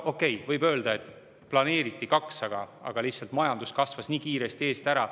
Okei, võib öelda, et planeeriti 2%, aga lihtsalt majandus kasvas nii kiiresti eest ära.